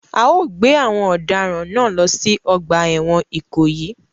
A o gbé àwon òdaràn náà lo si ogbà èwòn Ìkòyí